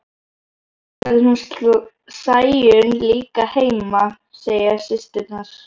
Þá verður hún Sæunn líka heima, segja systurnar.